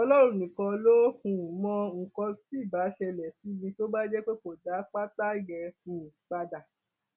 ọlọrun nìkan ló um mọ nǹkan tí ibà ṣẹlẹ sí mi tó bá jẹ pé kò dá pátá yẹn um padà